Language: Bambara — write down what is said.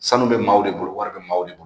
Sanu bɛ maaw de bolo wari bɛ maaw de bolo